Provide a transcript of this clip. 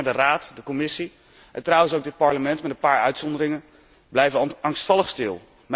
De Raad, de Commissie en trouwens ook dit Parlement, op een paar uitzonderingen na, blijven angstvallig stil.